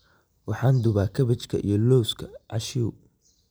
Waxaan dubaa kaabajka iyo lawska cashew.